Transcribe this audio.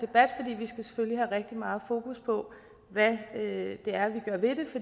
rigtig meget fokus på hvad det er